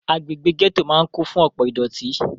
Agbègbè gẹ́tò máà kún fún ọ̀pọ ìdọ̀tí.